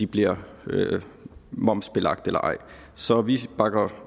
bliver momsbelagt eller ej så vi bakker